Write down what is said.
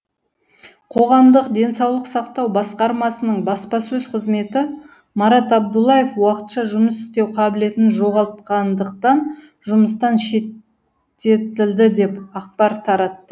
қоғамдық денсаулық сақтау басқармасының баспасөз қызметі марат абдуллаев уақытша жұмыс істеу қабілетін жоғалтқандықтан жұмыстан шеттетілді деп ақпар таратты